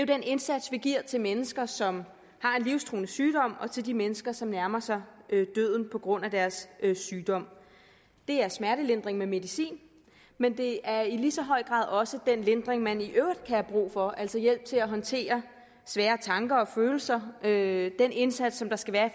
den indsats vi giver til mennesker som har en livstruende sygdom og til de mennesker som nærmer sig døden på grund af deres sygdom det er smertelindring med medicin men det er i lige så høj grad også den lindring man i øvrigt kan have brug for altså hjælp til at håndtere svære tanker og følelser det den indsats der skal være